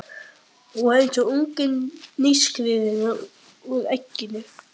Hún var eins og ungi nýskriðinn úr egginu.